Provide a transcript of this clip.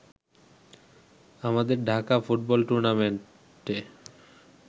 আমাদের ঢাকা ফুটবল টুর্নামেন্টে